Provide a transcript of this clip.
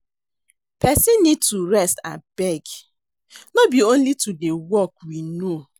Person need to rest abeg no be only to dey work we know